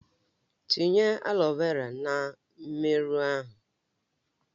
Tinye aloe vera na mmerụ ahụ!